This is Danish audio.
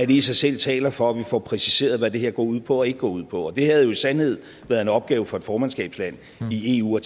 i sig selv taler for at vi får præciseret hvad det her går ud på og ikke går ud på det havde jo i sandhed været en opgave for et formandskabsland i eu at